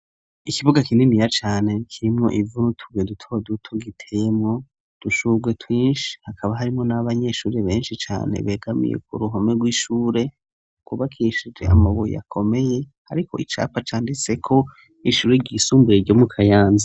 Ikibuga kininiya cane, kirimwo ivu n'utubuye duto duto, giteyemwo udushurwe twinshi, hakaba harimwo n'abanyeshure benshi cane, begamiye ku ruhome rw'ishure, rwubakishije amabuye akomeye, hariko icapa canditseko: "Ishure ryisumbuye iryo mu Kayanza".